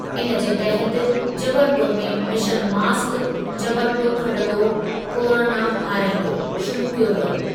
इन जे तहति जबलपुर में 'मिशन मास्क, जबलपुर खटंदो, कोरोना हाराईंदो' शुरू कयो वियो।